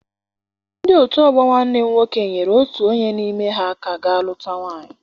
Ndị otu ọgbọ nwanne m nwoke nyere otu onye n'ime ha aka ga luta nwaanyị.